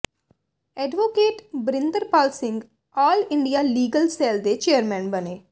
advocate Barinderpal Singh all India legal cell ਦੇ chairman ਬਣੇ